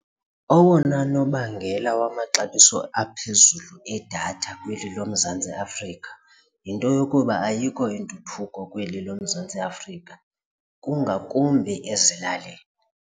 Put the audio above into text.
Owona nobangela wamaxabiso aphezulu edatha kweli loMzantsi Afrika yinto yokuba ayikho intuthuko kweli loMzantsi Afrika kungakumbi ezilalini.